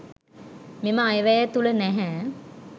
මෙම අයවැය තුළ නැහැ.